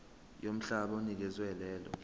yomhlaba onikezwe lelo